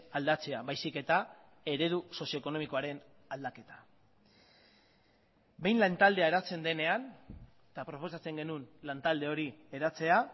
aldatzea baizik eta eredu sozio ekonomikoaren aldaketa behin lan taldea eratzen denean eta proposatzen genuen lan talde hori eratzea